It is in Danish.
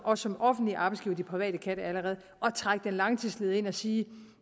også som offentlig arbejdsgiver de private kan det allerede at trække den langtidsledige ind og sige